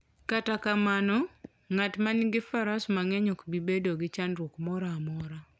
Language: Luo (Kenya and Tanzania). Kata kamano, ng'at ma nigi Faras mang'eny ok bi bedo gi chandruok moro amora.